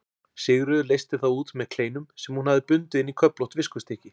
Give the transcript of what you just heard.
Sigríður leysti þá út með kleinum sem hún hafði bundið inn í köflótt viskustykki.